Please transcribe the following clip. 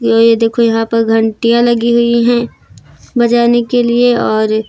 य ये देखो यहां पर घंटियां लगी हुई हैं बजाने के लिए और--